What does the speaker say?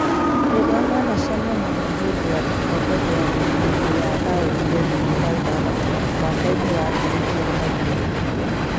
Rĩrĩa manacemania nĩ hĩndĩ ya gĩkombe gĩa thĩ hĩndĩ ya raundi ya ikũmi na ithathatũ mwaka-inĩ wa ngiri igĩrĩ na igĩrĩ